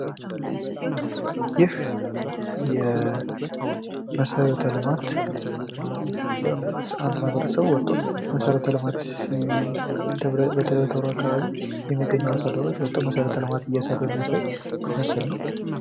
ይህ የመሰረተ ልማት አንድ ማህበረሰብ ወጥቶ የመሰረተ ልማት በደብረታቦር አካባቢ ያሉ አርሶ አደሮች ወጥተዉ መሰረተ ልማት ሲሰሩ የሚያሳይ ምስል ነዉ።